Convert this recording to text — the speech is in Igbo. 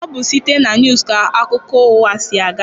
Ọ bụ site na weevu ka akụkọ ụwa si aga.